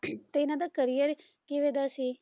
ਤੇ ਇਹਨਾਂ ਦਾ career ਕਿਵੇਂ ਦਾ ਸੀ?